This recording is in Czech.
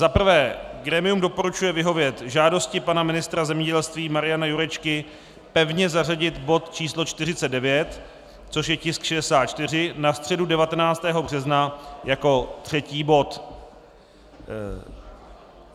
Za prvé grémium doporučuje vyhovět žádosti pana ministra zemědělství Mariana Jurečky pevně zařadit bod číslo 49, což je tisk 64, na středu 19. března jako třetí bod.